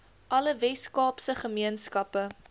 alle weskaapse gemeenskappe